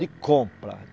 De compra.